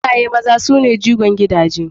Iyaye maza su ne jigon gidaje.